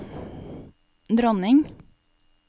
dronning